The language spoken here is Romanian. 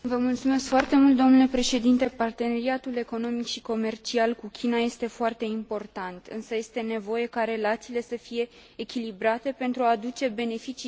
Parteneriatul economic și comercial cu China este foarte important, însă este nevoie ca relațiile să fie echilibrate pentru a aduce beneficii depline ambelor părți.